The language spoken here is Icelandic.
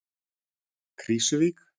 Krísuvík